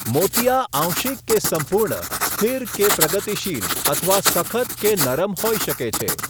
મોતિયા આંશિક કે સંપૂર્ણ, સ્થિર કે પ્રગતિશીલ, અથવા સખત કે નરમ હોઈ શકે છે.